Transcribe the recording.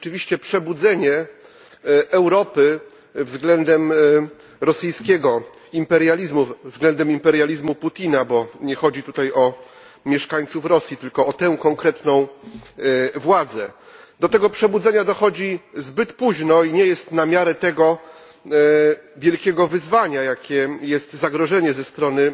To jest rzeczywiście przebudzenie Europy względem rosyjskiego imperializmu, względem imperializmu Putina, bo nie chodzi tutaj o mieszkańców Rosji, tylko o tę konkretną władzę. Do tego przebudzenia dochodzi zbyt późno i nie jest ono na miarę tak wielkiego wyzwania, jakim jest zagrożenie ze strony